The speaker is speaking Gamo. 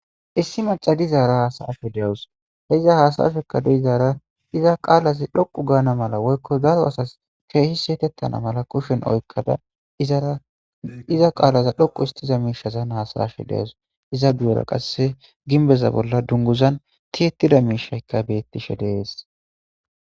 issi macadizara haasayafhe dewus he iza hasashekka deizaara iza qaalazi dhoqu gaana mala woykko daro asas keehi seetettana mala kushen oykkada izaaiza qaalaza dhoqu istiza miishazan hasayashe deos iza guura qasse ginbeza bolla dunguzan tiyettida miishaykka beettishe dees